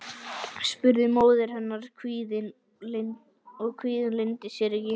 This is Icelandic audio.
spurði móðir hennar og kvíðinn leyndi sér ekki.